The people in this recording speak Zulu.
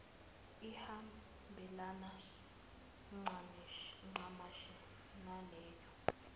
ihambelane ncamashi naleyo